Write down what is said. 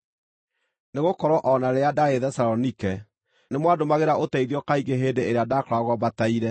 nĩgũkorwo o na rĩrĩa ndaarĩ Thesalonike, nĩmwandũmagĩra ũteithio kaingĩ hĩndĩ ĩrĩa ndaakoragwo mbataire.